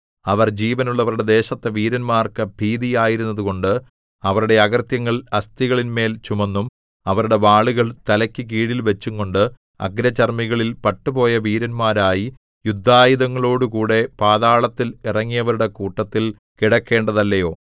അവർ ജീവനുള്ളവരുടെ ദേശത്ത് വീരന്മാർക്കു ഭീതി ആയിരുന്നതുകൊണ്ട് അവരുടെ അകൃത്യങ്ങൾ അസ്ഥികളിന്മേൽ ചുമന്നും അവരുടെ വാളുകൾ തലയ്ക്കു കീഴിൽ വച്ചുംകൊണ്ട് അഗ്രചർമ്മികളിൽ പട്ടുപോയ വീരന്മാരായി യുദ്ധായുധങ്ങളോടുകൂടെ പാതാളത്തിൽ ഇറങ്ങിയവരുടെ കൂട്ടത്തിൽ കിടക്കേണ്ടതല്ലയോ